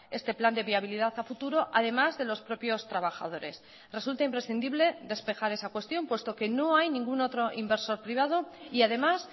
este plan de viabilidad a futuro además de los propios trabajadores resulta imprescindible despejar esa cuestión puesto que no hay ningún otro inversor privado y además